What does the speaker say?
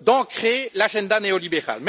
d'ancrer l'agenda néolibéral.